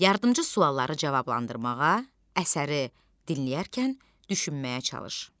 Yardımçı sualları cavablandırmağa, əsəri dinləyərkən düşünməyə çalış.